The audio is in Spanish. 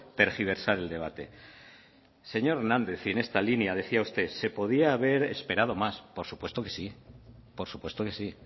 tergiversar el debate señor hernández y en esta línea decía usted se podía haber esperado más por supuesto que sí